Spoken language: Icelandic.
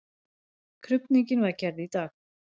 Krufning var gerð í dag.